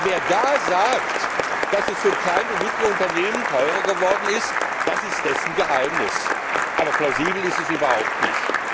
Wer da sagt, dass es für kleine und mittlere Unternehmen teurer geworden ist, das ist dessen Geheimnis, aber plausibel ist es überhaupt nicht.